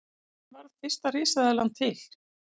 Hvernig varð fyrsta risaeðlan til?